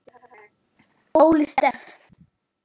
Óli Stef.